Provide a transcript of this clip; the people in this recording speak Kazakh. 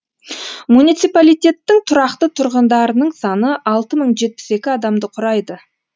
муниципалитеттің тұрақты тұрғындарының саны алты мың жетпіс екі адамды құрайды